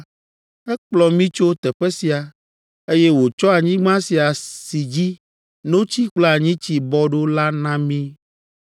ekplɔ mí tso teƒe sia, eye wòtsɔ anyigba sia, si dzi “notsi kple anyitsi bɔ ɖo” la na mí.